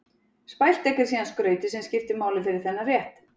Spælt egg er síðan skrautið sem skiptir máli fyrir þennan rétt.